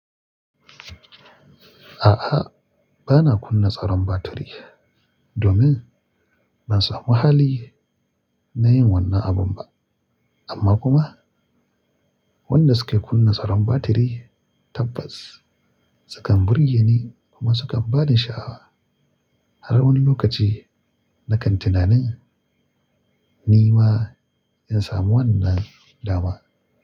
A'a, ba na kunna tsaron batiri domin ban samu hali na yin wannan abun ba. Amma kuma wadanda suke kunna tsaron batiri tabbas sukan burge ni kuma sukan ba ni sha'awa har wani lokaci na kan tunanin ni ma in samu wannan dama.